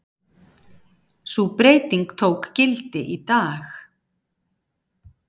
Sú breyting tók gildi í dag